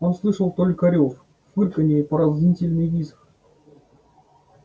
он слышал только рёв фырканье и пронзительный визг